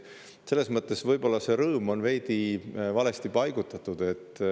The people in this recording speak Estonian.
Selles mõttes on see rõõm võib-olla veidi valesti paigutatud.